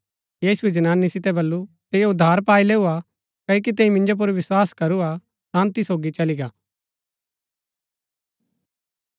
यीशुऐ जनानी सितै बल्लू तैंई उद्धार पाई लैऊ हा क्ओकि तैंई मिन्जो पुर विस्वास करूआ शान्ती सोगी चली गा